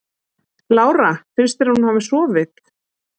Lára: Finnst þér hún hafa sofið?